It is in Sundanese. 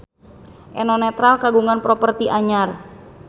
Eno Netral kagungan properti anyar